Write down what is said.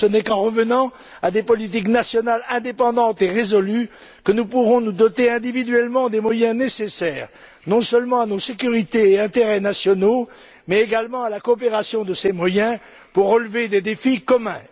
Ce n'est qu'en revenant à des politiques nationales indépendantes et résolues que nous pourrons nous doter individuellement des moyens nécessaires, non seulement à nos sécurités et intérêts nationaux, mais également à la coopération de ces moyens pour relever des défis communs.